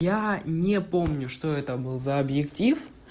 я не помню что это был за объектив